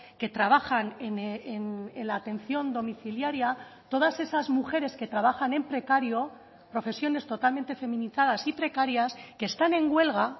que trabajan en la atención domiciliaria todas esas mujeres que trabajan en precario profesiones totalmente feminizadas y precarias que están en huelga